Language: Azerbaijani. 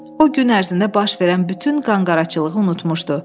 O gün ərzində baş verən bütün qanqaracılığı unutmuşdu.